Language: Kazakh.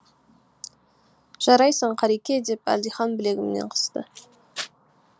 жарайсың қареке деп әлдихан білегімнен қысты